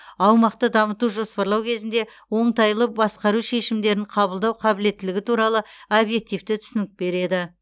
аумақты дамыту жоспарлау кезінде оңтайлы басқару шешімдерін қабылдау қабілеттілігі туралы объективті түсінік береді